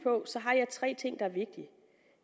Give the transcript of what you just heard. tre ting der er vigtige